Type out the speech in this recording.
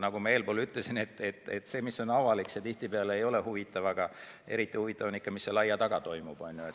Nagu ma ütlesin, see, mis on avalik, tihtipeale ei ole huvitav, eriti huvitav on ikka see, mis aia taga toimub.